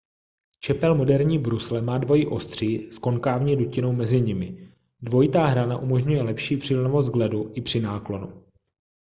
čepel moderní brusle má dvojí ostří s konkávní dutinou mezi nimi dvojitá hrana umožňuje lepší přilnavost k ledu i při náklonu